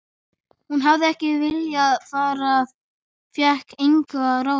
Hún hafði ekki viljað fara en fékk engu að ráða.